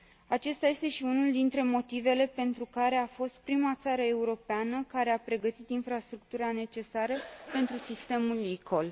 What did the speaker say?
Acesta este și unul dintre motivele pentru care a fost prima țară europeană care a pregătit infrastructura necesară pentru sistemul eCall.